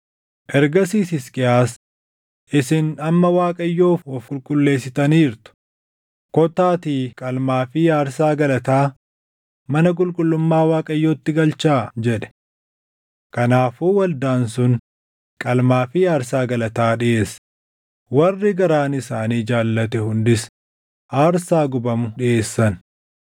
Ergasiis Hisqiyaas, “Isin amma Waaqayyoof of qulqulleessitaniirtu. Kottaatii qalmaa fi aarsaa galataa mana qulqullummaa Waaqayyootti galchaa” jedhe. Kanaafuu waldaan sun qalmaa fi aarsaa galataa dhiʼeesse; warri garaan isaanii jaallate hundis aarsaa gubamu dhiʼeessan.